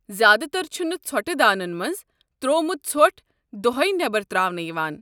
زیٛادٕ تر چھُنہٕ ژھۄٹہٕ دانٮن منٛز ترٛوومت ژھۄٹھ دوہَے نیبر ترٛاونہٕ یوان۔